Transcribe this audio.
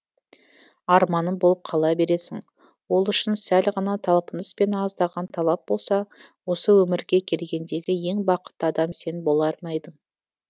арманым болып қала бересің ол үшін сәл ғана талпыныс пен аздаған талап болса осы өмірге келгендегі ең бақытты адам сен болар ма едің